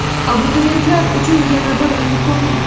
Abituriyentlar uchun yana bir imkoniyat.